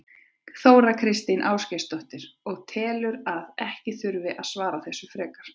Þóra Kristín Ásgeirsdóttir: Og telurðu að ekki þurfi að svara þessu frekar?